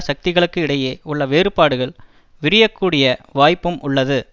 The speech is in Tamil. சக்திகளுக்கு இடையே உள்ள வேறுபாடுகள் விரியக் கூடிய வாய்ப்பும் உள்ளது